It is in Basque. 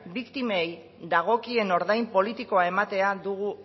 biktimei dagokien ordain politikoa ematea dugu